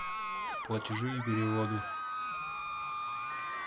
платежи и переводы